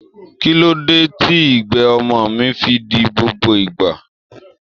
Kí ló dé tí igbe ọmọ mi fi di gbogbo ìgbà?